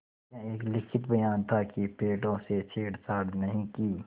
यह एक लिखित बयान था कि पेड़ों से छेड़छाड़ नहीं की